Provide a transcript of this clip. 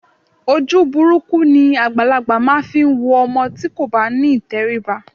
Ojú burúkú ni àgbàlagbà máa ń fi wo ọmọ tí kò bá ní ìtẹríba